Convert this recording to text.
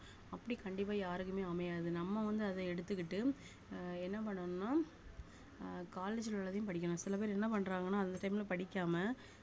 அப்படி கண்டிப்பா யாருக்குமே அமையாது நம்ம வந்து அத எடுத்துக்கிட்டு அஹ் என்ன பண்ணனும்னா அஹ் college ல உள்ளதையும் படிக்கணும் சில பேர் என்ன பண்றாங்கன்னா அந்த time ல படிக்காம